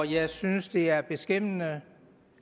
jeg synes det er beskæmmende